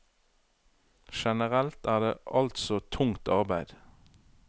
Generelt er det altså tungt arbeide.